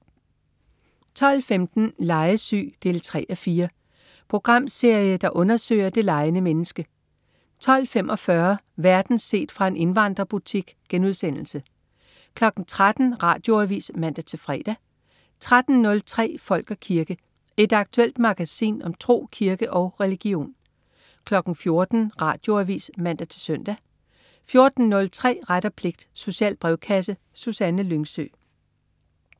12.15 Legesyg 3:4. Programserie, der undersøger det legende menneske 12.45 Verden set fra en indvandrerbutik* 13.00 Radioavis (man-fre) 13.03 Folk og kirke. Et aktuelt magasin om tro, kirke og religion 14.00 Radioavis (man-søn) 14.03 Ret og pligt. Social brevkasse. Susanne Lyngsø